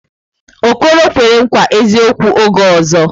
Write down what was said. Okoro kwere nkwa eziokwu oge ọzọ.